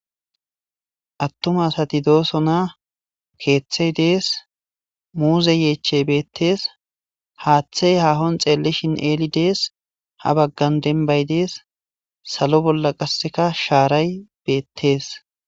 attuma asati doosona keeththey dees ,muuze yeechey beettees, haaththey haahon xeellishin eeli dees ha baggan denbay dees salo bolla qasseka shaaray beettees